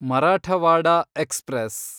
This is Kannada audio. ಮರಾಠವಾಡ ಎಕ್ಸ್‌ಪ್ರೆಸ್